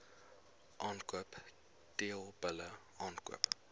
aankoop teelbulle aankoop